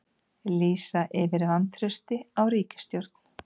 Lýsa yfir vantrausti á ríkisstjórn